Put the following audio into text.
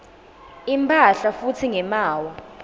imphahla futsi ngemaawa